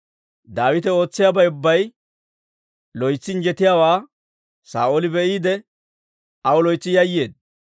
Daawite ootsiyaabay ubbay loytsi injjetiyaawaa Saa'ooli be'iide, aw loytsi yayyeedda.